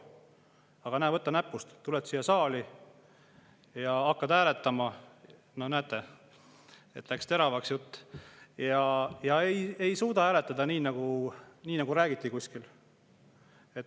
Aga näe, võta näpust, tuleb siia saali ja hakkab hääletama – no näete, läks teravaks jutt – ja ei suuda hääletada nii, nagu rääkis kuskil.